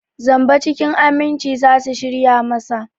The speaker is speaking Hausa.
Zamba cikin aminci za su shirya masa.